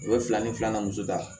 U bɛ fila ni filanan muso ta